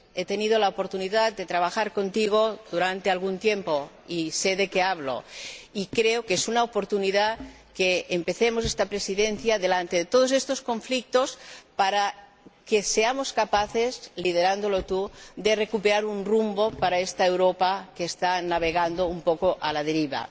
He tenido la oportunidad de trabajar contigo durante algún tiempo y sé de qué hablo, y creo que es una oportunidad que empecemos esta Presidencia frente a todos estos conflictos para que seamos capaces —liderando tú este Parlamento— de recuperar un rumbo para esta Europa que está navegando un poco a la deriva.